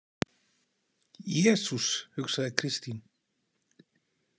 Jesús, hugsaði Kristín.